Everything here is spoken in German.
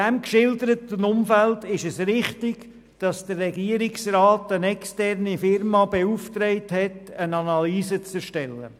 Im geschilderten Umfeld ist es richtig, dass die Regierung eine externe Firma beauftragt hat, eine Analyse zu erstellen.